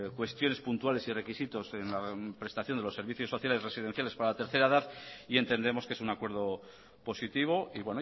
cuestiones puntuales y requisitos en la prestación de los servicios sociales residenciales para la tercera edad y entendemos que es un acuerdo positivo y